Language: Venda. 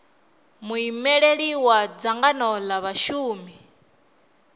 muimeli wa dzangano la vhashumi